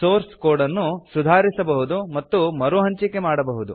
source code ನ್ನು ಸುಧಾರಿಸಬಹುದು ಮತ್ತು ಮರುಹಂಚಿಕೆ ಮಾಡಬಹುದು